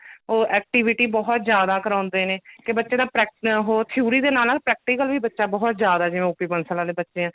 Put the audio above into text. ਉਹ activity ਬਹੁਤ ਜਿਆਦਾ ਕਰਾਉਂਦੇ ਨੇ ਤੇ ਬੱਚੇ ਦਾ ਪ੍ਰੇਕ ਹੋਰ theory ਦੇ ਨਾਲ ਨਾਲ practical ਵੀ ਬੱਚਾ ਬਹੁਤ ਜਿਆਦਾ ਜਿਵੇਂ OPBansal ਆਲੇ ਬੱਚੇ ਆ